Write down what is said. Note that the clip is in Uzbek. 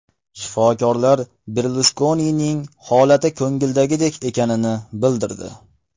Shifokorlar Berluskonining holati ko‘ngildagidek ekanini bildirdi.